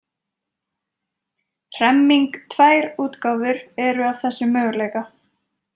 Hremming Tvær útgáfur eru af þessum möguleika.